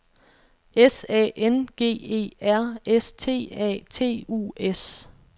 S A N G E R S T A T U S